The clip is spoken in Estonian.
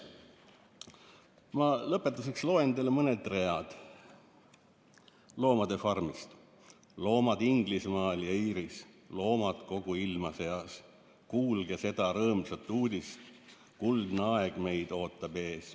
Ma lõpetuseks loen teile mõned read "Loomade farmist": "Loomad Inglismaal ja Iiris, / loomad kogu ilma sees, / levitage rõõmsat uudist: / kuldne aeg meid ootab ees.